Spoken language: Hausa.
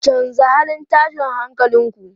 Canza halin tashin hankalin ku!